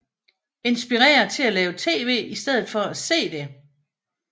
Inspirere til at lave tv i stedet for at se det